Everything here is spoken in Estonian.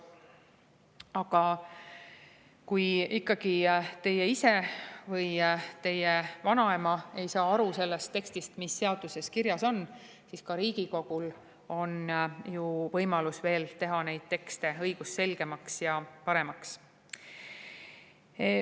Aga kui ikkagi teie ise või teie vanaema ei saa aru sellest tekstist, mis seaduses kirjas on, siis on ka Riigikogul võimalus teha neid tekste õigusselgemaks ja paremaks.